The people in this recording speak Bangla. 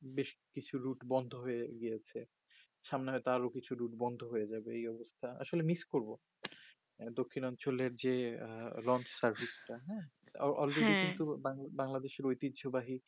বেশ কিছু লুট বন্দ হয়ে গেছে সামনে হয়তো আরো কিছু লুট বন্দ হয়ে যাবে এই অবস্থা আসলে মিস করবো মানে দক্ষিণ অঞ্চল এর যে রং survis টা হ্যা olrady কিন্তু বাংলাদেশের ঐতিযো বাহি